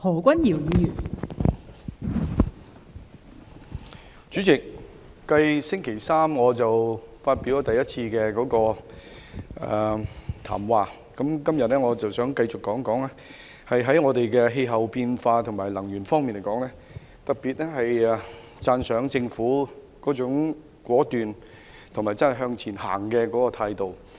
代理主席，繼在星期三第一次發言後，今天我繼續談談氣候變化及能源問題，我特別讚賞政府的果斷及向前走的態度。